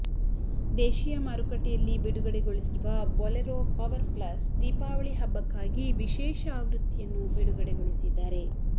ದೇಶಿಯ ಮಾರುಕಟ್ಟೆಯಲ್ಲಿ ಬಿಡುಗಡೆಗೊಳಿಸಿರುವ ಬೊಲೆರೊ ಪವರ್ ಪ್ಲಸ್ ದೀಪಾವಳಿ ಹಬ್ಬಕ್ಕಾಗಿ ವಿಶೇಷ ಆವೃತ್ತಿಯನ್ನು ಬಿಡುಗಡೆಗೊಳಿಸಿದ್ದಾರೆ